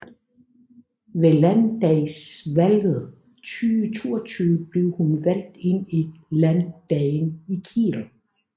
Ved landdagsvalget 2022 blev hun valgt ind i Landdagen i Kiel